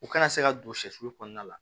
U kana se ka don sɛsulu kɔnɔna la